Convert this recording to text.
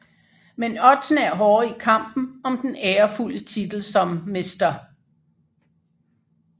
Men oddsene er hårde i kampen om den ærefulde titel som Mr